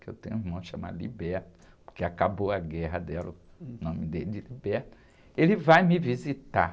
que eu tenho um irmão chamado, porque acabou a guerra, deram o nome dele de, ele vai me visitar.